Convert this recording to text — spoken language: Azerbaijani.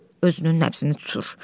Özünün nəbzini tutur.